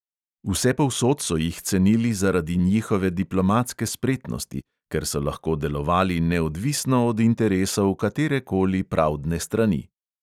Vsepovsod so jih cenili zaradi njihove diplomatske spretnosti, ker so lahko delovali neodvisno od interesov katere koli pravdne strani.